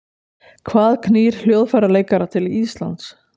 Hvað knýr hljóðfæraleikara til Íslands?